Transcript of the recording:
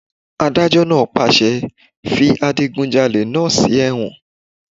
Adájọ́ náà pàṣẹ "fi adigunjalè náà sí ẹ̀wọ̀n!"